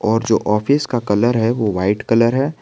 और जो ऑफिस का कलर है वो वाइट कलर है।